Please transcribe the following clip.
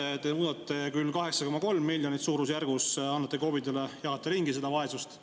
Seal te muudate küll, 8,3 miljonit suurusjärgus annate KOV-idele, jagate ringi seda vaesust.